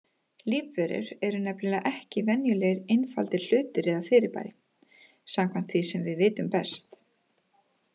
Lífverur eru nefnilega ekki venjulegir einfaldir hlutir eða fyrirbæri, samkvæmt því sem við vitum best.